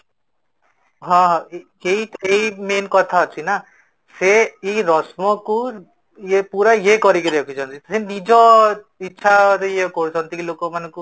ହଁ, ଏଇ ଏଇ main କଥା ଅଛି ନା, ସେ ଏଇ ରସ୍ମ କୁ ପୁରା ୟେ କରିକି ରଖିଛନ୍ତି ସେ ନିଜ ଇଚ୍ଛା ରେ ୟେ କରୁଛନ୍ତି କି ଲୋକ ମାନଙ୍କୁ